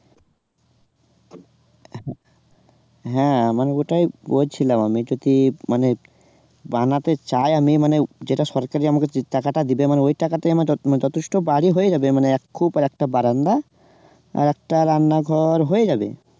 হ্যাঁ আমার ওটাই বলছিলাম, আমি যদি মানে বানাতে চাই আমি মানে যেটা সরকারই আমাকে উম টাকাটা দেবে আমার ওই টাকাটাই আমার যথেষ্ট মানে যথেষ্ট বাড়ি হয়ে যাবে মানে এক খুপ আর একটা বারান্দা, আরেকটা রান্না ঘর হয়ে যাবে